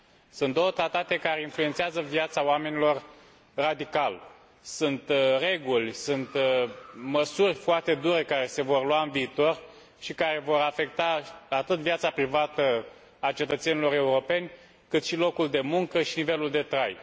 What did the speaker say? Sunt două tratate care influențează viața oamenilor radical, sunt reguli, sunt măsuri foarte dure care se vor lua în viitor și care vor afecta atât viața privată a cetățenilor europeni, cât și locul de muncă și nivelul de trai.